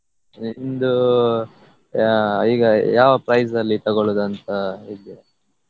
E~ ಇಂದು ಯಾ~ ಈಗ ಯಾವ price ಅಲ್ಲಿ ತಗೊಳುದಂತ ಇದ್ದೀರಾ?